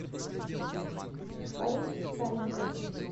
фарид савенков